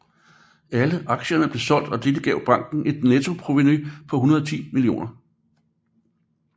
Alle aktierne blev solgt og dette gav banken et nettoprovenu på 110 millioner